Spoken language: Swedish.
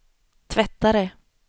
tvättare